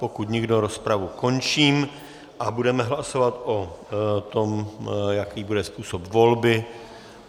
Pokud nikdo, rozpravu končím a budeme hlasovat o tom, jaký bude způsob volby.